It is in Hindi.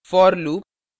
for loop